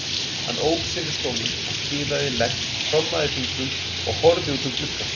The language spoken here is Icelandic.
Hann ók sér í stólnum og kiðaði legg, trommaði fingrum og horfði út um gluggann.